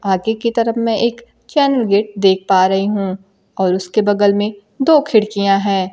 आगे की तरफ मैं एक चैनल गेट देख पा रही हूं और उसके बगल में दो खिड़कियां हैं।